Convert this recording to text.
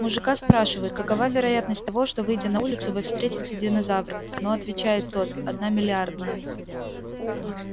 мужика спрашивают какова вероятность того что выйдя на улицу вы встретите динозавра ну отвечает тот одна миллиардная